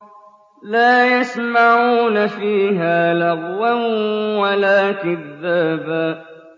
لَّا يَسْمَعُونَ فِيهَا لَغْوًا وَلَا كِذَّابًا